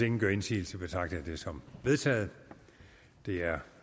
ingen gør indsigelse betragter jeg det som vedtaget det er